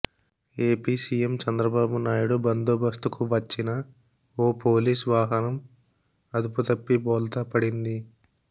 AP CM Chandrababu Naidu బందోబస్తుకు వచ్చిన ఓ police వాహనం అదుపు తప్పి బోల్తా పడింది